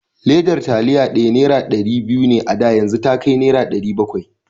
Ledar taliya ɗaya nera ɗari biyu ne a da, yanzu yakai nera ɗari bakwai.